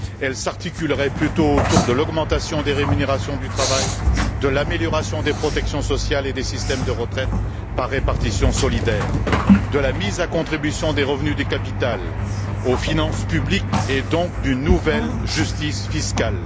Elle s'articulerait plutôt autour de l'augmentation des rémunérations du travail, de l'amélioration des protections sociales et des systèmes de retraite par répartition solidaire, de la mise à contribution des revenus du capital aux finances publiques et donc d'une nouvelle justice fiscale.